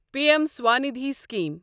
P M Svanidhi scheme